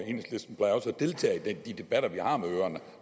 deltage i de debatter vi har med øerne